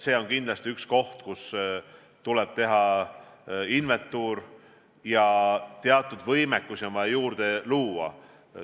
See on kindlasti üks valdkond, kus tuleb teha inventuur ja teatud võimekust juurde luua.